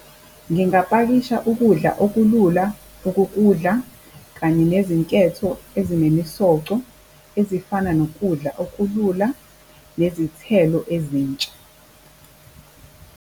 Ngingapakisha ukudla okulula okokudla kanye nezinketho ezinemisoco ezifana nokudla okulula nezithelo ezintsha .